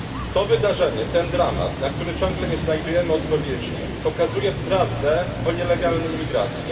To wydarzenie, ten dramat, na który ciągle nie znajdujemy odpowiedzi, pokazuje prawdę o nielegalnej imigracji.